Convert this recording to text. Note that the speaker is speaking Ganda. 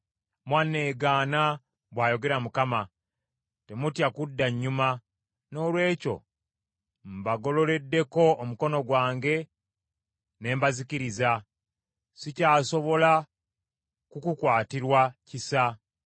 Mwanneegaana,” bw’ayogera Mukama . “Temutya kudda nnyuma. Noolwekyo mbagololeddeko omukono gwange ne mbazikiriza. Sikyasobola kukukwatirwa kisa.